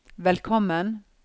velkommen